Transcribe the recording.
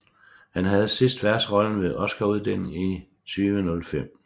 Han havde sidst værtsrollen ved Oscaruddelingen 2005